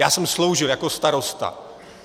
Já jsem sloužil jako starosta.